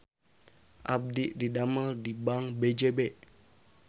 Abdi didamel di Bank BJB